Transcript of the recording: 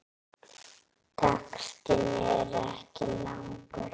Textinn er ekki langur.